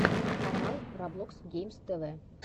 канал роблокс геймс тв